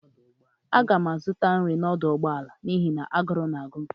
Aga m azụta nri n'ebe a n'ọdụ ụgbọala n'ihi na agụrụ na-agụ m